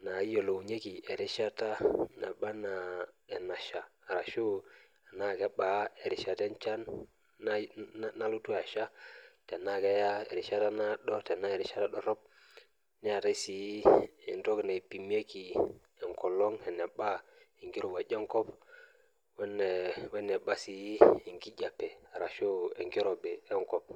inayiolounyieki enchan eneba naa keebaa erishata enchan nalotu asha erishata naado ashu edorop, eneba enkong' ashu enkijape weneba sii enkirowaj enkop.